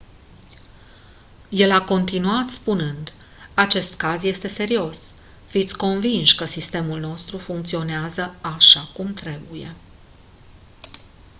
el a continuat spunând: «acest caz este serios. fiți convinși că sistemul nostru funcționează așa cum trebuie.».